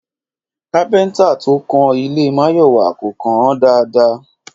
Kápẹ́ntà to kan ilé Máyọ̀wá kò kàn án dáadáa